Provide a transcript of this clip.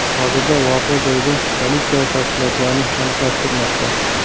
Hozirda voqea joyida politsiya tafsilotlarni aniqlashtirmoqda.